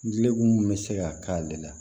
Dikun mun bɛ se ka k'ale la